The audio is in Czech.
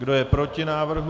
Kdo je proti návrhu?